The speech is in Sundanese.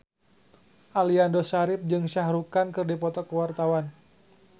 Aliando Syarif jeung Shah Rukh Khan keur dipoto ku wartawan